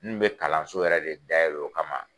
N kun be kalanso yɛrɛ re dayɛlɛ o kama